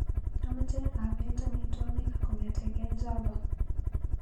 Amache abet amitwogik kong'eteke Java.